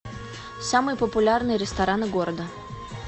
самые популярные рестораны города